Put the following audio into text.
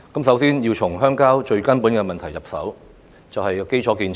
首先，我們要從鄉郊最根本的問題入手，就是基礎建設。